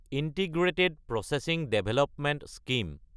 integrated processing development scheme